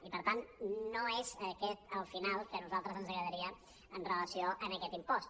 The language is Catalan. i per tant no és aquest el final que a nosaltres ens agradaria amb relació a aquest impost